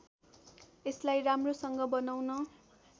यसलाई राम्रोसँग बनाउन